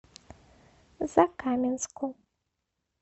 закаменску